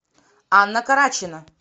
анна карачина